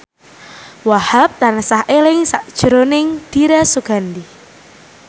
Wahhab tansah eling sakjroning Dira Sugandi